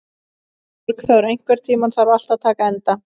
Borgþóra, einhvern tímann þarf allt að taka enda.